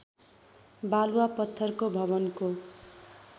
बालुवा पत्थरको भवनको